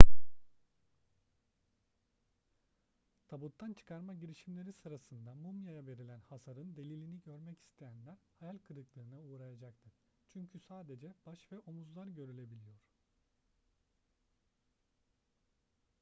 tabuttan çıkarma girişimleri sırasında mumyaya verilen hasarın delilini görmek isteyenler hayal kırıklığına uğrayacaktır çünkü sadece baş ve omuzlar görülebiliyor